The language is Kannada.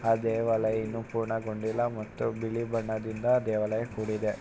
ಆ ದೇವಾಲಯ ಇನ್ನು ಪೂರ್ಣಗೊಂಡಿಲ್ಲಾ ಮತ್ತು ಬಿಳಿ ಬಣ್ಣದಿಂದ ಆ ದೇವಾಲಯ ಕೂಡಿದೆ.